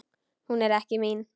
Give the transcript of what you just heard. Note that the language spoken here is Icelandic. Hún er ekki mín.